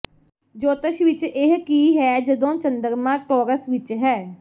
ਜੋਤਸ਼ ਵਿੱਚ ਇਹ ਕੀ ਹੈ ਜਦੋਂ ਚੰਦਰਮਾ ਟੌਰਸ ਵਿੱਚ ਹੈ